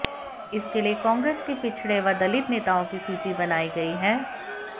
इसके लिए कांग्रेस के पिछड़े व दलित नेताओं की सूची बनाई गई है